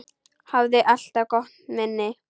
Hafði alltaf gott minni.